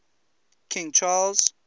king charles